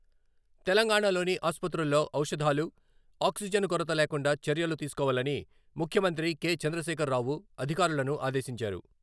తెలంగాణాలోని ఆస్పత్రుల్లో ఔషధాలు, ఆక్సిజన్ కొరత లేకుండా చర్యలు తీసుకోవాలని ముఖ్యమంత్రి కే. చంద్రశేఖర్ రావు అధికారులను ఆదేశించారు.